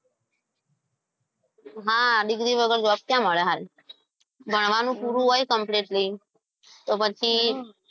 હા degree વગર job ક્યાં મળે છે સારી? ભણવાનું પૂરું હોય completely તો પછી.